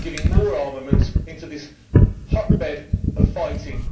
more armaments into this hotbed of fighting?